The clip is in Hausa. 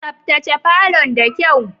Tsaftace falon da kyau.